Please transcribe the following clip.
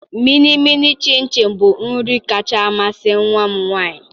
Mịnịmịị shịnshịn bụ nri kacha amasị nwa m nwanyị.